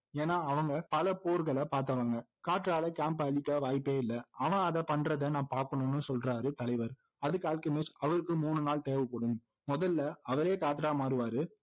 ஏன்னாஅவங்க பல போர்களை பார்த்தவங்க காற்றால camp ஐ அழிக்க வாய்ப்பே இல்லை ஆனா அதை பண்றதை நான் பாக்கணும்னு சொல்றாரு தலைவர் அதுக்கு அல்கெமிஸ்ட் அவருக்கு மூணு நாள் தேவைப்படும் முதல்ல அவரே காற்றா மாறுவாரு